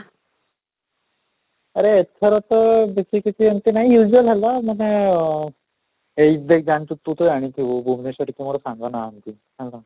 ଆରେ ଏଥର ତ ବେଶୀ କିଛି ଏମିତି ନାହିଁ usual ହେଲା ମାନେ ଏଇ ଦେଖ ତୁ ତ ଜାଣିଥିବୁ ଭୁବନେଶ୍ୱର ରେ ମୋର କେହି ସାଙ୍ଗ ନାହାନ୍ତି ହେଲା